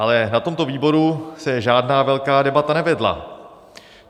Ale na tomto výboru se žádná velká debata nevedla.